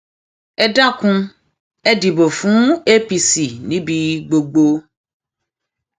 ẹ dákun ẹ dìbò fún apc níbi gbogbo